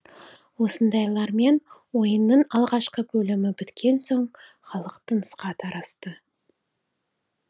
осындайлармен ойынның алғашқы бөлімі біткен соң халық тынысқа тарасты